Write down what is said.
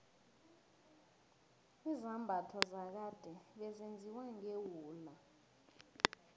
izambatho zakade bezenziwa ngewula